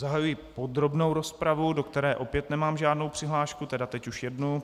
Zahajuji podrobnou rozpravu, do které opět nemám žádnou přihlášku, tedy teď už jednu.